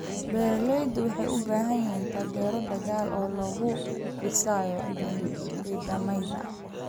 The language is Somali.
Beeraleydu waxay u baahan yihiin taageero dhaqaale oo lagu dhisayo nidaamyada.